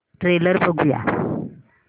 trailer बघूया